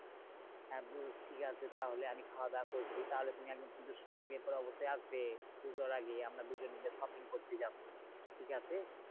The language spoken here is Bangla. হ্যাঁ বুঝছি ঠিকাছে আমি খাওয়াদাওয়া করছি তাহলে তুমি একদিন কিন্তু সময় বের করে অবশ্যই আসবে। পুজোর আগে আমরা দুজন মিলে shopping করতে যাবো ঠিকাছে?